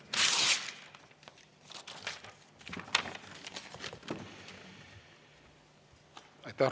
Aitäh!